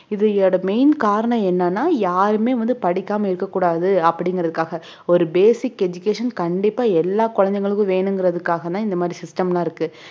இதோட main காரணம் என்னன்னா யாருமே வந்து படிக்காம இருக்கக்கூடாது அப்படிங்கறதுக்காக ஒரு basic education கண்டிப்பா எல்லா குழந்தைகளுக்கும் வேணுங்கிறதுகாக தான் இந்த மாதிரி system லாம் இருக்கு